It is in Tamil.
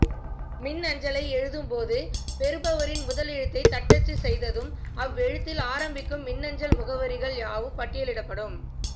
மின்னஞ்சலை எழுதும்போது பெறுபவரின் முதலெழுத்தைத் தட்டச்சுச் செய்ததும் அவ்வெழுத்தில் ஆரம்பிக்கும் மின்னஞ்சல் முகவரிகள் யாவும் பட்டியலிடப்படும்